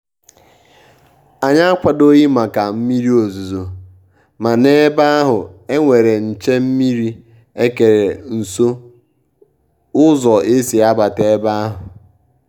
ànyị́ ákwàdòghị́ màkà mmírí òzùzò mà n’ébè áhụ́ é nwéré nché-mmírí ékéré nsó ụ́zọ́ ésí àbàtà ébè áhụ̀.